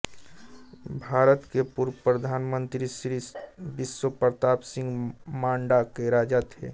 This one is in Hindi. भारत के पूर्वप्रधानमंत्री श्री विश्वप्रताप सिंह मांडा के राजा थे